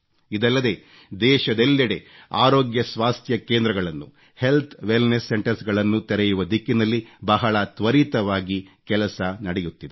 ಇದಲ್ಲದೆ ದೇಶದೆಲ್ಲೆಡೆ ಆರೋಗ್ಯ ಸ್ವಾಸ್ಥ್ಯ ಕೇಂದ್ರಗಳನ್ನು ಹೆಲ್ತ್ ವೆಲ್ನೆಸ್ ಸೆಂಟರ್ಸ್ ತೆರೆಯುವ ದಿಕ್ಕಿನಲ್ಲಿ ಬಹಳ ತ್ವರಿತವಾಗಿ ಕೆಲಸ ನಡೆಯುತ್ತಿದೆ